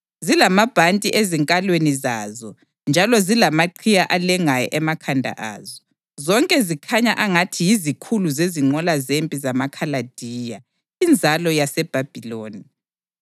zilamabhanti ezinkalweni zazo njalo zilamaqhiye alengayo emakhanda azo; zonke zikhanya angathi yizikhulu zezinqola zempi zamaKhaladiya, inzalo yaseBhabhiloni.